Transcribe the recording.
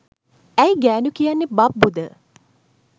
ඇයි ගෑනු කියන්නේ බබ්බු ද?